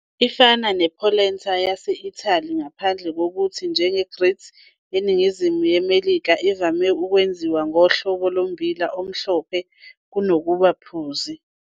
Ifana ne-I-polenta yase-Italy ngaphandle kokuthi, njenge-grits eNingizimu ye-Melika, ivame ukwenziwa ngohlobo lombila omhlophe kunokuba ophuzi.